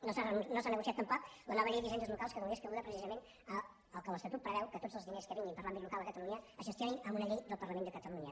no s’ha negociat tampoc la nova llei d’hisendes locals que donés cabuda precisament al que l’estatut preveu que tots els diners que vinguin per a l’àmbit local a catalunya es gestionin amb una llei del parlament de catalunya